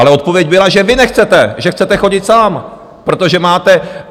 Ale odpověď byla, že vy nechcete, že chcete chodit sám, protože máte...